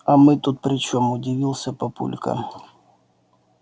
а мы тут при чём удивился папулька